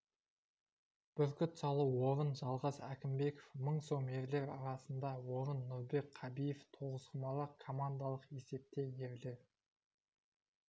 бүркіт салу орын жалғас әкімбеков мың сом ерлер арасында орын нұрбек қабиев тоғызқұмалақ командалық есепте ерлер